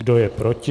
Kdo je proti?